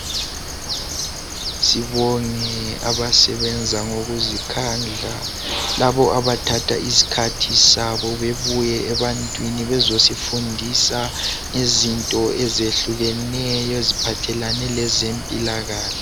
Sibonge abasebenza ngokuzikhandla. Labo abathatha isikhathi sabo bebuye ebantwini bezosifundisa izinto ezehlukeneyo eziphathelane lezempilakahle.